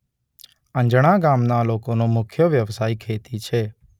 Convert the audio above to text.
અંજણા ગામના લોકોનો મુખ્ય વ્યવસાય ખેતી છે.